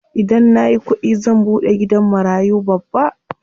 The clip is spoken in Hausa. Idan nayi kuɗi zan buɗe gidan marayu babba.